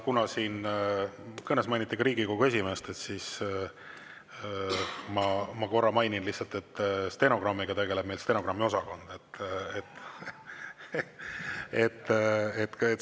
Kuna siin kõnes mainiti ka Riigikogu esimeest, siis ma korra mainin lihtsalt, et stenogrammiga tegeleb meil stenogrammiosakond.